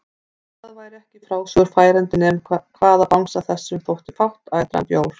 Það væri ekki í frásögur færandi nema hvað bangsa þessum þótti fátt betra en bjór!